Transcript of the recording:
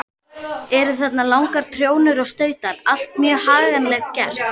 Eru þarna langar trjónur og stautar, allt mjög haganlega gert.